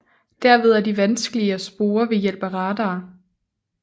Derved er de vanskelige at spore ved hjælp af radar